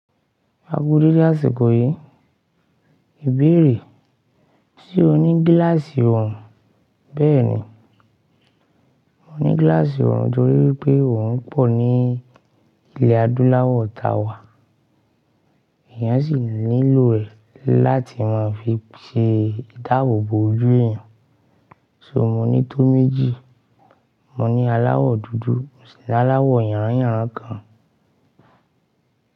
A ku déédé àsìkò yìí, ìbéèrè, ṣe o ní gíláàsì ọ̀hún? Bẹ́ẹ̀ni, mo ní gíláàsì oòrùn torí pé oòrùn pọ̀ ní ilẹ̀ adúláwọ̀ ta wà, èèyàn sì nílò rẹ̀ láti má fi ṣe ìdáàbò bo ojú èèyàn, ṣo mo ní tó méjì, mo ní aláwọ̀ dúdú sì ní aláwọ̀ yànráyànrá kan.